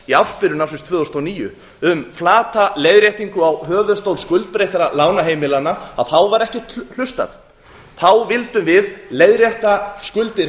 í ársbyrjun ársins tvö þúsund og níu um flata leiðréttingu á höfuðstól skuldbreyttra lána heimilanna þá var ekkert hlustað þá vildum við leiðrétta skuldir